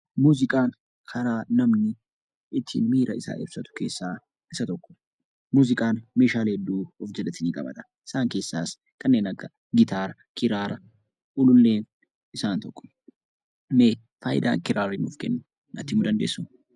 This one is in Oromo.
Muuziqaan karaa ittin namni miira isaa ibsatuu keessa isa tokkodha. Muuziqaan meeshaalee heduu of jaalatti ni qabata. Isaan keessaas kannen akka Gitaraa, Kiraraa kunnen isaan tokko. Mee faayidaa Kiraarii nuuf kennu nati himuu dandessu?